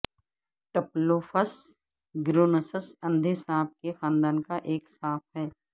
Typhlops گریونسس اندھے سانپ کے خاندان کا ایک سانپ ہے